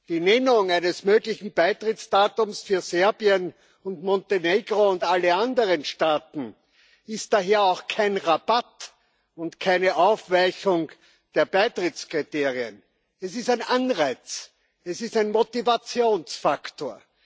Die Nennung eines möglichen Beitrittsdatums für Serbien und Montenegro und alle anderen Staaten ist daher auch kein Rabatt und keine Aufweichung der Beitrittskriterien. Es ist ein Anreiz, es ist ein Motivationsfaktor.